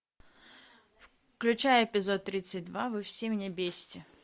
включай эпизод тридцать два вы все меня бесите